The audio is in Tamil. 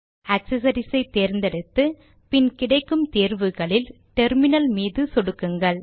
ஆக்சசரிஸ் ஐ தேர்ந்தெடுத்து பின் கிடைக்கும் தேர்வுகளில் டெர்மினல் மீது சொடுக்குங்கள்